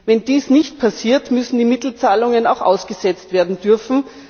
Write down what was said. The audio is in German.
Wenn dies nicht passiert, müssen die Mittelzahlungen auch ausgesetzt werden dürfen.